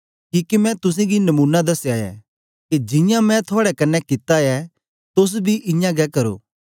किके मैं तुसेंगी नमूना दसया ऐ के जियां मैं थुआड़े कन्ने कित्ता ऐ तोस बी इयां गै करो